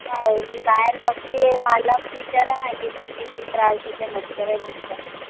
नाय मी बाहेर बसली आय. माला विचाराना किती किती त्रास होत आय मच्छर आहे नुसता